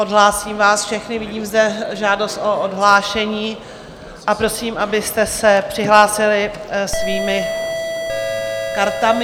Odhlásím vás všechny, vidím zde žádost o odhlášení, a prosím, abyste se přihlásili svými kartami.